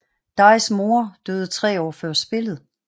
Dajhs mor døde 3 år før spillet